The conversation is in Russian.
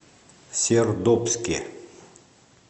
сердобске